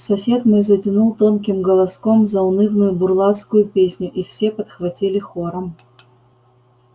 сосед мой затянул тонким голоском заунывную бурлацкую песню и все подхватили хором